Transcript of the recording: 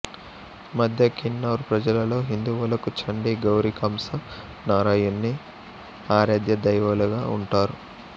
మద్య కిన్నౌర్ ప్రజలలో హిందువులకు చండి గౌరి కంస నారాయణ్జి ఆరాధ్యదైవాలుగా ఉంటారు